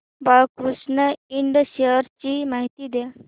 Balkrishna Ind shares ची माहिती द्या